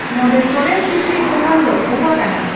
ᱱᱚᱸᱰᱮ ᱥᱚᱨᱮᱥ ᱠᱤᱪᱨᱤᱡ ᱫᱳᱠᱟᱱ ᱫᱚ ᱚᱠᱟ ᱠᱟᱱᱟ